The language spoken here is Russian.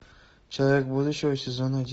человек будущего сезон один